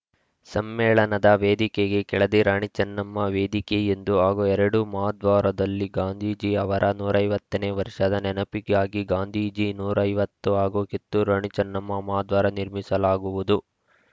ಸಮ್ಮೇಳನದ ವೇದಿಕೆಗೆ ಕೆಳದಿ ರಾಣಿ ಚೆನ್ನಮ್ಮ ವೇದಿಕೆ ಎಂದು ಹಾಗೂ ಎರಡು ಮಹಾದ್ವಾರದಲ್ಲಿ ಗಾಂಧೀಜಿ ಅವರ ನೂರ ಐವತ್ತು ನೇ ವರ್ಷದ ನೆನಪಿಗಾಗಿ ಗಾಂಧೀಜಿ ನೂರ ಐವತ್ತು ಹಾಗೂ ಕಿತ್ತೂರು ರಾಣಿ ಚೆನ್ನಮ್ಮ ಮಹಾದ್ವಾರ ನಿರ್ಮಿಸಲಾಗುವುದು